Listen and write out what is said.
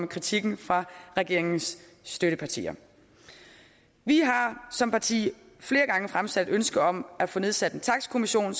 kritikken fra regeringens støttepartier vi har som parti flere gange fremsat ønske om at få nedsat en takstkommission